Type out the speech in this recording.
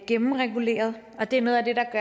gennemreguleret og det er noget af det der